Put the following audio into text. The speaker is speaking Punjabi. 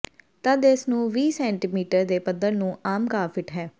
ਤਦ ਇਸ ਨੂੰ ਵੀਹ ਸੈਟੀਮੀਟਰ ਦੇ ਪੱਧਰ ਨੂੰ ਆਮ ਘਾਹ ਫਿੱਟ ਹੈ